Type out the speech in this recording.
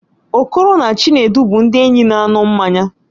Okoro na Chinedu bụ ndị enyi na-aṅụ mmanya